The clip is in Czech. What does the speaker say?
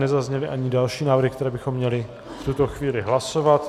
Nezazněly ani další návrhy, které bychom měli v tuto chvíli hlasovat.